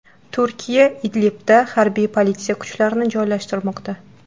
Turkiya Idlibda harbiy politsiya kuchlarini joylashtirmoqda.